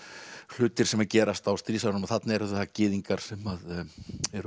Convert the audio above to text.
hlutir sem gerast á stríðsárunum þarna eru það gyðingar sem eru